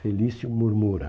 Felício murmura.